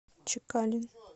чекалин